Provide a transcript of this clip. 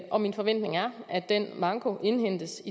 og min forventning er at den manko indhentes